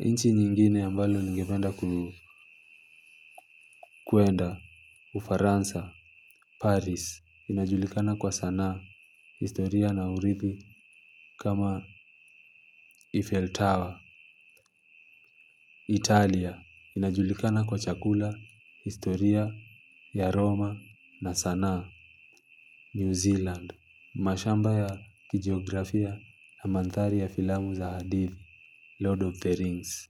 Nchi nyingine ambalo ningependa kuenda Ufaransa paris inajulikana kwa sanaa, historia na urithi kama Eiffel Tower, Italia inajulikana kwa chakula historia ya Roma na sanaa New Zealand. Mashamba ya kijiografia na mandhari ya filamu za hadithi Lord of the Rings.